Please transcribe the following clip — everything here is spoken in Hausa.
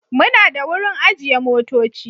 Muna da wurin ajiye motoci.